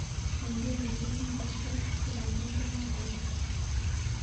Kengeleshek ngircho chegagindeno kot